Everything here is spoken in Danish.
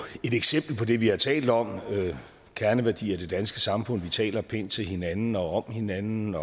eksempel på det vi har talt om nemlig kerneværdier i det danske samfund vi taler pænt til hinanden og om hinanden